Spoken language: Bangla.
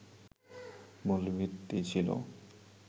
মূল ভিত্তি ছিল